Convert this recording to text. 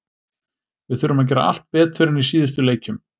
Við þurfum að gera allt betur en í síðustu leikjum.